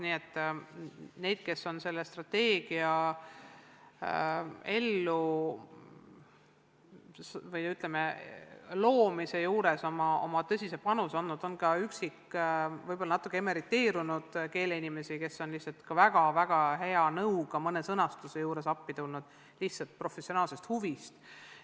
Nende hulgas, kes on selle strateegia loomise juures oma tõsise panuse andnud, on ka üksikuid natukene emeriteerunud keeleinimesi, kes on lihtsalt väga-väga hea nõuga mõne sõnastuse juures appi tulnud, lihtsalt professionaalsest huvist.